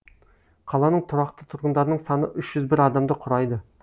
қаланың тұрақты тұрғындарының саны үш жүз бір адамды құрайды